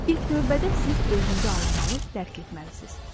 İlk növbədə siz özünüzü anlamalı, dərk etməlisiniz.